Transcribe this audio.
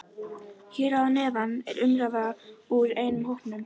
Hér að neðan er umræða úr einum hópnum